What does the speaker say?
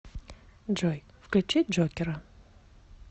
джой включи джокера